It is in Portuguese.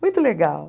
Muito legal.